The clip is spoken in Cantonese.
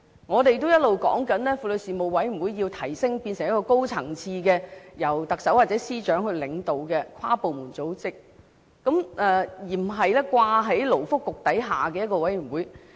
我們一直也要求提升婦女事務委員會成為一個高層次、由特首或司長領導的跨部門組織，而不是在勞工及福利局下的一個委員會。